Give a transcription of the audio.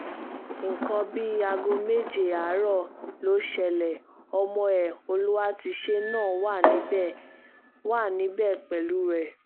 nǹkan bíi aago méje àárọ̀ ló ṣẹlẹ̀ ọmọ ẹ olùwátìṣe náà wà níbẹ̀ wà níbẹ̀ pẹ̀lú ẹ